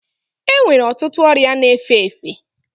E nwere ọtụtụ ọria na-efe efe.